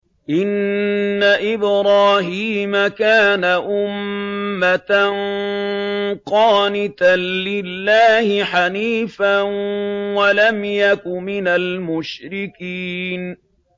إِنَّ إِبْرَاهِيمَ كَانَ أُمَّةً قَانِتًا لِّلَّهِ حَنِيفًا وَلَمْ يَكُ مِنَ الْمُشْرِكِينَ